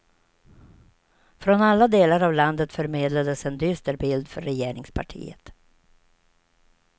Från alla delar av landet förmedlades en dyster bild för regeringspartiet.